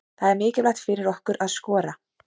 Það er mikilvægt fyrir okkur að skora.